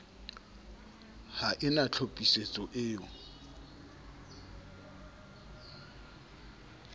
ha e na tlhophisetso eo